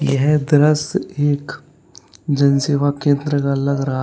यह दृश्य एक जन सेवा केंद्र का लग रहा--